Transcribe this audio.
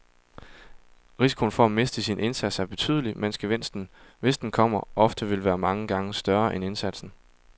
Risikoen for at miste sin indsats er betydelig, mens gevinsten, hvis den kommer, ofte vil være mange gange større end indsatsen.